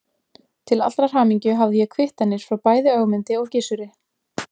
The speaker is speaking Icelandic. Til allrar hamingju hafði ég kvittanir frá bæði Ögmundi og Gizuri.